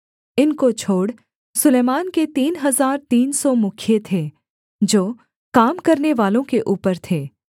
इनको छोड़ सुलैमान के तीन हजार तीन सौ मुखिए थे जो काम करनेवालों के ऊपर थे